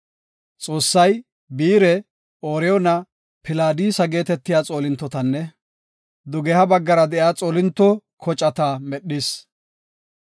Xoossay Biire, Ooriyoona, Pilaadisa geetetiya xoolintotanne, dugeha baggara de7iya xoolinto koceeta medhis.